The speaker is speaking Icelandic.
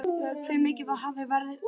Hve mikið hafi verið af vörunni?